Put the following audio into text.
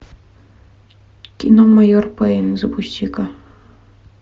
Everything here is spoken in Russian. кино майор пэйн запусти ка